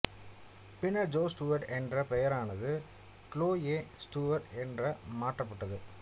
பின்னர் Joe Stewart என்ற பெயரானது க்ளோயே ஸ்டூவர்ட் என்று மாற்றப்பட்டது